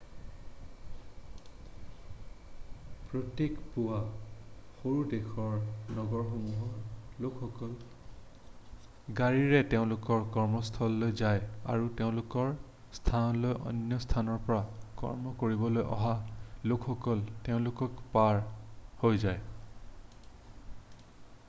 প্ৰত্যেক পূৱা সৰু দেশৰ নগৰসমূহৰ লোকসকল গাড়ীৰে তেওঁলোকৰ কৰ্মস্থানলৈ যায় আৰু তেওঁলোকৰ স্থানলৈ অন্য স্থানৰ পৰা কৰ্ম কৰিবলৈ অহা লোকসকল তেওঁলোকক পাৰ হৈ যায়